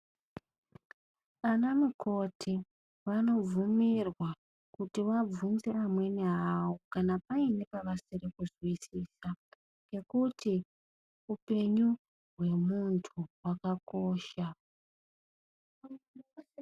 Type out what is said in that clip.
Ana mukoti vanobvumirwa kuti vabvunze amweni avo kana payine pavasiri kuzwisisa ngekuti upenyu hwemuntu hwakakosha.